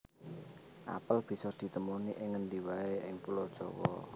Apel bisa di temoni ing ngendi waé ing Pulo Jawa